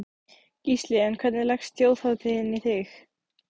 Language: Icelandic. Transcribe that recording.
Gísli: En hvernig leggst Þjóðhátíðin í þig?